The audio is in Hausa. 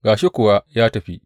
Ga shi kuwa ya tafi!